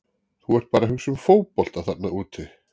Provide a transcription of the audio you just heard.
Þú ert bara að hugsa um fótbolta þarna úti.